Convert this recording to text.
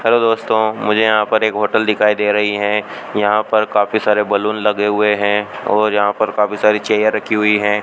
Hello दोस्तों मुझे यहां पर एक होटल दिखाई दे रही है यहां पर काफी सारे बैलून लगे हुए हैं और यहां पर काफी सारी चेयर रखी हुई हैं।